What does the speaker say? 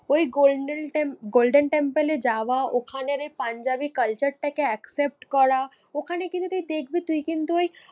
ওই golden temp golden temple এ যাওয়া ওখানের ওই পাঞ্জাবি culture টাকে accept করা। ওখানে কিন্তু তুই দেখবি তুই কিন্তু ওই